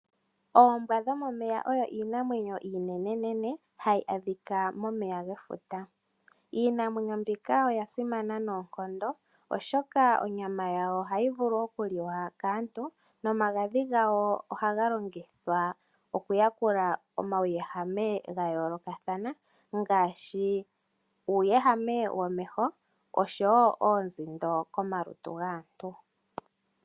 Oombwa dho momeya odho iinenenene hadhi adhika momeya gefuta. Iinamwenyo mbika oyasimana noonkondo oshoka onyama yawo ohayi vulu okuliwa kaantu nomagadhi gawo oha galongithwa okuyakula omawuyehame gayoolokathana ngaashi uuyehame womeho osho wo oonzindo komalutu gaantu.